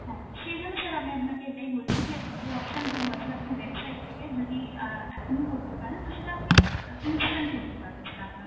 হ্যাঁ, সেই জন্য sir আমি আপনাকে এটাই বলছি যে, অ যে যেই option two আছে, আপনি website থেকে যদি অ্যাঁ এখনো করতে পারেন, তো সেটা আপনি আ instantকরতে পারবে sir আপনার